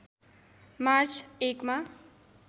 March १ मा